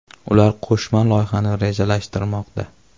Ular qo‘shma loyihani rejalashtirmoqda.